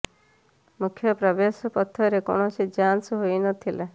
ମୁଖ୍ୟ ପ୍ରବେଶ ପଥରେ କୌଣସି ଯାଞ୍ଚ ହୋଇ ନ ଥିଲା